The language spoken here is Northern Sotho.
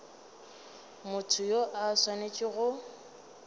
motho yo a swanetšego go